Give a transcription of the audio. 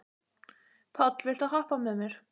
Páll, viltu hoppa með mér?